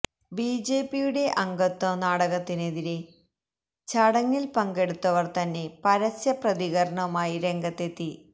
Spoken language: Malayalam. ബിജെപിയുടെ അംഗത്വ നാടകത്തിനെതിരെ ചടങ്ങില് പങ്കെടുത്തവര് തന്നെ പരസ്യ പ്രതികരണവുമായി രംഗത്തെത്തി